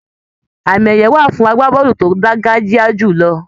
Àmì ẹyẹ wà fún àgbàbọọlu tó dangajiya julọ.